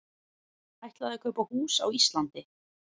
Ætlaði að kaupa hús á Íslandi